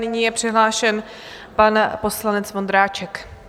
Nyní je přihlášen pan poslanec Vondráček.